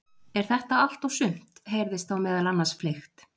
Er þetta allt og sumt? heyrðist þá meðal annars fleygt.